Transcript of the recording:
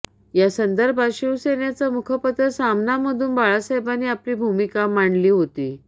यासंदर्भात शिवसेनेचं मुखपत्र सामनामधून बाळसाहेबांनी आपली भूमिका मांडली होती